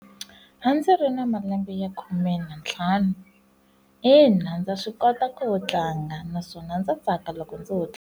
A ndzi ri na malembe ya khume ni ntlhanu ina, ndza swi kota ku yo tlanga naswona ndza tsaka loko ndzi wo tlela.